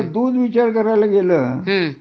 दूध विचार करायला गेल